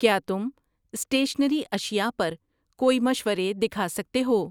کیا تم اسٹیشنری اشیاء پر کوئی مشورے دکھا سکتے ہو؟